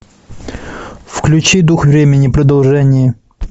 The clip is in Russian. включи дух времени продолжение